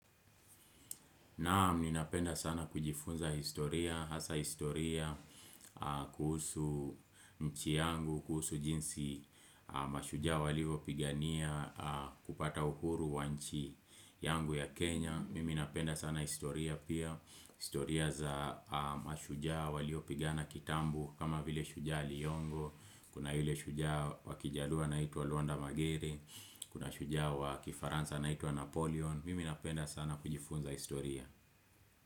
Naam, ninapenda sana kujifunza historia, hasa historia, kuhusu nchi yangu, kuhusu jinsi mashujaa walio pigania, kupata uhuru wa nchi yangu ya Kenya. Mimi napenda sana historia pia, historia za mashujaa walio pigana kitambo kama vile shujaa Aliongo, kuna yule shujaa wakijaluo anaitwa Luanda Magere, kuna shujaa wakifaransa anaitwa Napoleon. Mimi napenda sana kujifunza historia.